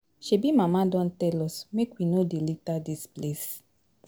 Shebi mama don tell us make we no dey litter dis place